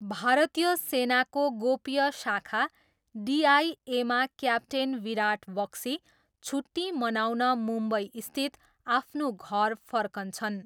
भारतीय सेनाको गोप्य शाखा डिआइएमा क्याप्टेन विराट बख्सी, छुट्टी मनाउन मुम्बईस्थित आफ्नो घर फर्कन्छन्।